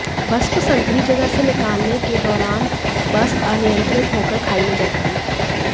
बस को संकरी जगह से निकालने के दौरान बस अनियंत्रित होकर खाई में जा गिरी